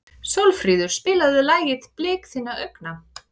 Sólfríður, spilaðu lagið „Blik þinna augna“.